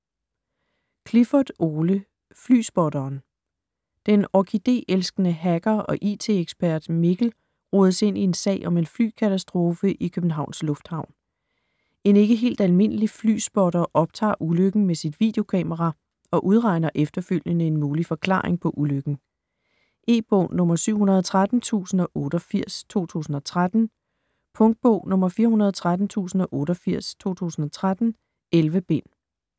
Clifford, Ole: Flyspotteren Den orkide-elskende hacker og IT-ekspert Mikkel rodes ind i en sag om en flykatastrofe i Københavns lufthavn. En ikke helt almindelig flyspotter optager ulykken med sit videokamera og udregner efterfølgende en mulig forklaring på ulykken. E-bog 713088 2013. Punktbog 413088 2013. 11 bind.